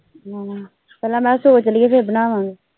ਪਹਿਲਾ ਮੈ ਕਿਹਾ ਸੋਚਲੀਏ ਫਿਰ ਬਣਾਵਾਂਗੇ।